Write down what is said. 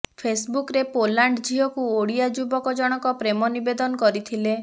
ଫେସବୁକରେ ପୋଲାଣ୍ଡ ଝିଅକୁ ଓଡିଆ ଯୁବକ ଜଣକ ପ୍ରେମ ନିବେଦନ କରିଥିଲେ